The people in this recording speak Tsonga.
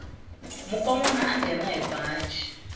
mukonwana a nghena hi baji